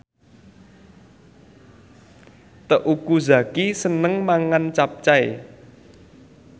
Teuku Zacky seneng mangan capcay